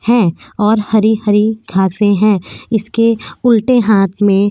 है और हरी-हरी घासे हैं इसके उल्टे हाथ में --